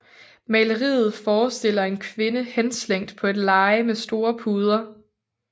Maleriet forestiller en kvinde henslængt på et leje med store puder